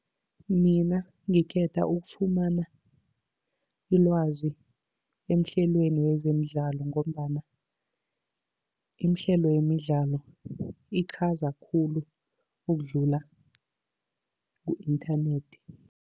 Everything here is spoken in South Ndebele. Mina ngikhetha ukufumana ilwazi emahlelweni wezemidlalo, ngombana imihlelo yemidlalo iqhaza khulu ukudlula ku-inthanethi.